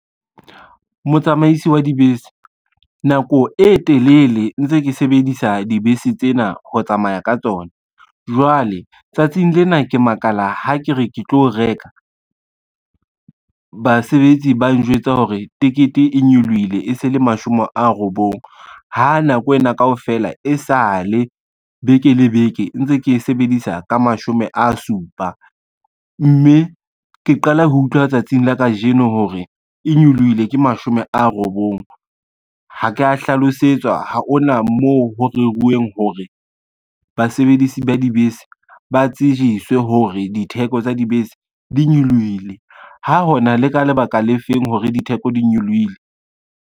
Motsamaisi wa dibese, nako e telele ntse ke sebedisa dibese tsena ho tsamaya ka tsona. Jwale tsatsing lena ke makala ha ke re ke tlo reka, basebetsi ba njwetsa hore tekete e nyolohile e se le mashome a robong, ha nako ena kaofela e sa le beke le beke ntse ke e sebedisa ka mashome a supa, mme ke qala ho utlwa tsatsing la kajeno hore e nyolohile ke mashome a robong. Ha ka hlalosetswa, ha ona moo ho rerwang hore basebedisi ba dibese ba tsejiswe hore ditheko tsa dibese di nyolohile, ha hona le ka lebaka le feng hore ditheko di nyolohile.